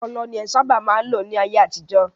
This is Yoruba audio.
Ọlọ ni en sábà má n lò ní ayé àtijọ́.